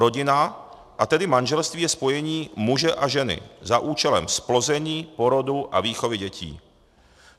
Rodina, a tedy manželství je spojení muže a ženy za účelem zplození, porodu a výchovy dětí.